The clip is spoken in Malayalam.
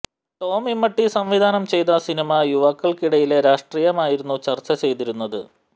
ടോം ഇമ്മട്ടി സംവിധാനം ചെയ്ത സിനിമ യുവാക്കള്ക്കിടയിലെ രാഷ്ട്രീയമായിരുന്നു ചര്ച്ച ചെയ്തിരുന്നത്